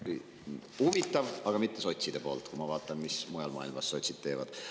Huvitav, aga sotsidelt, kui ma vaatan, mis sotsid mujal maailmas teevad.